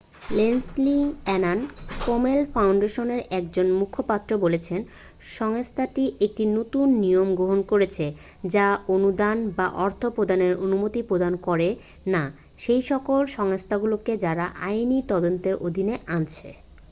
Leslie Aun Komen ফাউন্ডেশনের একজন মুখপাত্র বলেছেন সংস্থাটি একটি নতুন নিয়ম গ্রহন করেছে যা অনুদান বা অর্থ প্রদানের অনুমতি প্রদান করে না সেইসকল সংস্থাগুলোকে যারা আইনী তদন্তের অধীনের আছে